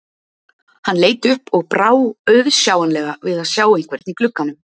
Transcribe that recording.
Hann leit upp og brá auðsjáanlega við að sjá einhvern í glugganum.